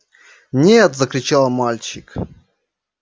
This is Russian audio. нет закричал мальчик